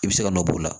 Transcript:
I bɛ se ka nɔ bɔ o la